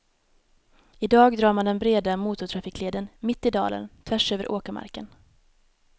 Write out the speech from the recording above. Idag drar man den breda motortrafikleden mitt i dalen, tvärs över åkermarken.